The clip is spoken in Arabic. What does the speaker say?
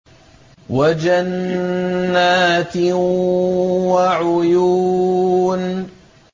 وَجَنَّاتٍ وَعُيُونٍ